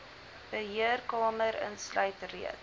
beheerkamer insluit reeds